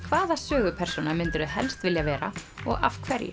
hvaða sögupersóna myndirðu helst vilja vera og af hverju